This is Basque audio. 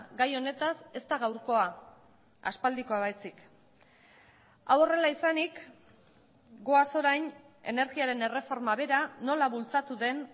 gai honetaz ez da gaurkoa aspaldikoa baizik hau horrela izanik goaz orain energiaren erreforma bera nola bultzatu den